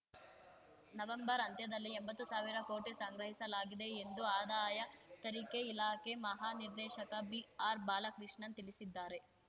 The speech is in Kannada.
ನವೆಂಬರ್‌ ಅಂತ್ಯದಲ್ಲಿ ಎಂಬತ್ತು ಸಾವಿರ ಕೋಟಿ ಸಂಗ್ರಹಿಸಲಾಗಿದೆ ಎಂದು ಆದಾಯ ತರಿಕೆ ಇಲಾಖೆ ಮಹಾನಿರ್ದೇಶಕ ಬಿಆರ್‌ಬಾಲಕೃಷ್ಣನ್‌ ತಿಳಿಸಿದ್ದಾರೆ